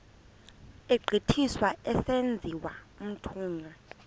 egqithiswa esenziwa umthunywa